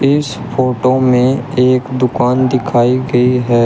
इस फोटो में एक दुकान दिखाई गई है।